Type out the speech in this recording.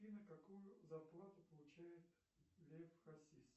афина какую зарплату получает лев хасис